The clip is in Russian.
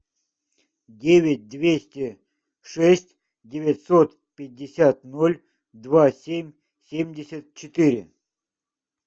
девять двести шесть девятьсот пятьдесят ноль два семь семьдесят четыре